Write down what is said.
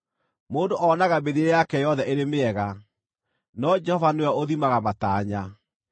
Mũndũ onaga mĩthiĩre yake yothe ĩrĩ mĩega, no Jehova nĩwe ũthimaga matanya.